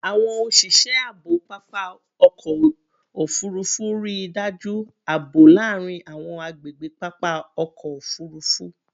Awọn oṣiṣẹ aabo papa ọkọ ofurufu rii daju aabo laarin awọn agbegbe papa ọkọ ofurufu